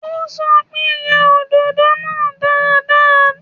Ó sọ pé, yẹ òdòdó náà dáadáa.